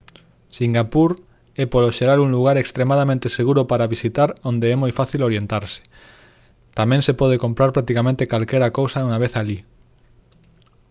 singapur é polo xeral un lugar extremadamente seguro para visitar onde é moi fácil orientarse tamén se pode comprar practicamente calquera cousa unha vez alí